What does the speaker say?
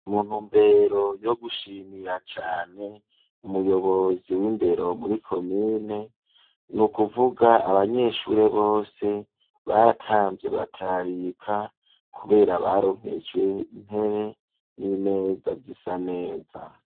mu ntumbero yo gushimira cane umuyobozi w'indero muri komine, ni ukuvuga abanyeshuri bose baratamvye baratarika kubera baronkejwe intebe n'imeza zisa neza.